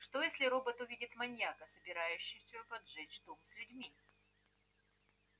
что если робот увидит маньяка собирающегося поджечь дом с людьми